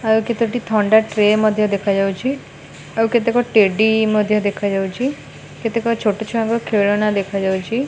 ଆଉ କେତୋଟି ଥଣ୍ଡା ଟ୍ରେ ମଧ୍ୟ ଦେଖାଯାଉଛି ଆଉ କେତେକ ଟେଡି ମଧ୍ୟ ଦେଖାଯାଉଛି କେତେକ ଛୋଟ ଛୁଆଙ୍କ ଖେଳଣା ଦେଖା ଯାଉଚି।